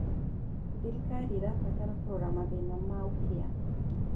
Thirikari ĩrabatara kũrora mathĩna ma ũkĩa.